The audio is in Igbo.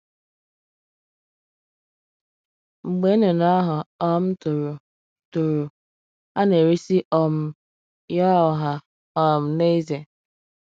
Mgbe nnụnụ ahụ um toro, toro, a na - eresị um ya ọha um na eze.